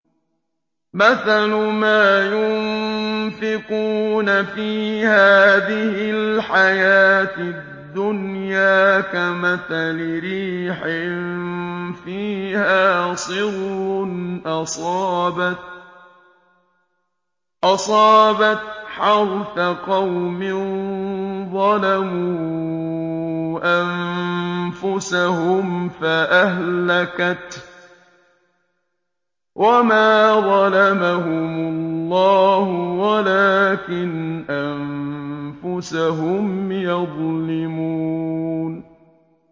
مَثَلُ مَا يُنفِقُونَ فِي هَٰذِهِ الْحَيَاةِ الدُّنْيَا كَمَثَلِ رِيحٍ فِيهَا صِرٌّ أَصَابَتْ حَرْثَ قَوْمٍ ظَلَمُوا أَنفُسَهُمْ فَأَهْلَكَتْهُ ۚ وَمَا ظَلَمَهُمُ اللَّهُ وَلَٰكِنْ أَنفُسَهُمْ يَظْلِمُونَ